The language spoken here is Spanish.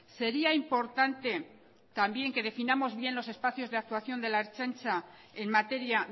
sería importante también que definamos bien los espacios de actuación de la ertzaintza en materia